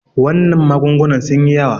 wannan magungunan sun yi yawa